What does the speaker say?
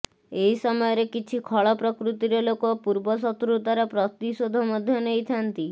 ଏହି ସମୟରେ କିଛି ଖଳ ପ୍ରକୃତିର ଲୋକ ପୂର୍ବ ଶତ୍ରୁତାର ପ୍ରତିଶୋଧ ମଧ୍ୟ ନେଇଥାନ୍ତି